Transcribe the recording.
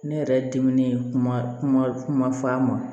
Ne yɛrɛ dimine kuma kuma f'a ma